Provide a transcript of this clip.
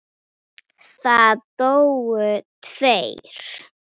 En lítið yður nær maður.